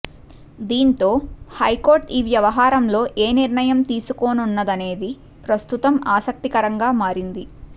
దీంతో హైకోర్టు ఈ వ్యవహారంలో ఏ నిర్ణయం తీసుకోనుందనేది ప్రస్తుతం ఆసక్తికరంగా మారింది